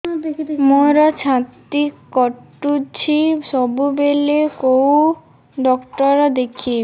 ମୋର ଛାତି କଟୁଛି ସବୁବେଳେ କୋଉ ଡକ୍ଟର ଦେଖେବି